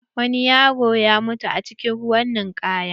Wani yaro ya mutu cikin ruwan ninkaya.